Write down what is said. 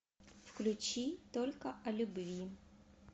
включи только о любви